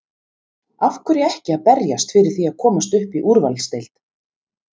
Af hverju ekki að berjast fyrir því að komast upp í úrvalsdeild?